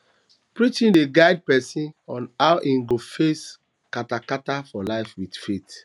preaching dey guide pesin on how im go face katakata for life with faith